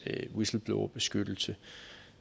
whistleblowerbeskyttelse